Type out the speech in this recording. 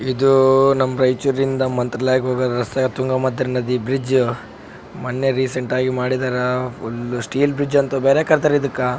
ಇದು ನಮ್ಮ್ ರೈಚೂರ್ನಿಂದ ಮಂತ್ರಾಲಯಕ್ಕ್ ಹೋಗುವ ರಸೆ ತುಂಗಾಭದ್ರಿ ಬ್ರಿಡ್ಜ್ ಮೊನ್ನೆ ರೀಸೆಂಟ್ ಆಗ್ ಮಾಡಿದಾರ ಫುಲ್ಲ್ ಸ್ಟೀಲ್ ಬ್ರಿಡ್ಜ್ ಅಂತ ಬೇರೆ ಕರಿತಾರ ಇದಕ್ಕ .